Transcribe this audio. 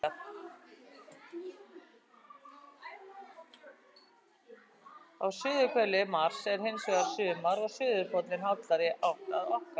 Á suðurhveli Mars er hins vegar sumar og suðurpóllinn hallar í átt að okkar.